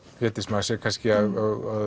Védís maður sér kannski að